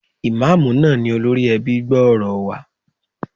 Ìmáàmù náà ni olórí ẹbí gbòòrò wa.